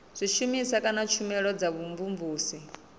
zwishumiswa kana tshumelo dza vhumvumvusi